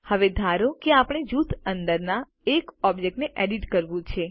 હવે ધારો કે આપણે જૂથ અંદરના એક ઓબ્જેક્ટને એડિટ કરવું છે